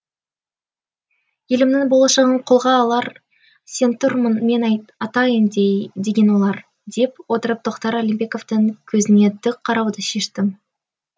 елімнің болашағын қолға алар сен тұрмын мен атайын деген олар дей отырып тохтар алимбековтың көзіне тік қарауды шештім